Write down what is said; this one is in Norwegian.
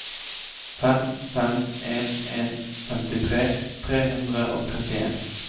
fem fem en en femtitre tre hundre og trettien